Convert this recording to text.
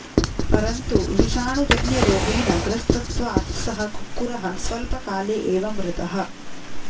परन्तु विषाणुजन्यरोगेण ग्रस्तत्वात् सः कुक्कुरः स्वल्पकाले एव मृतः